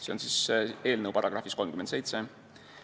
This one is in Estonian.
See on siis eelnõu §-s 37.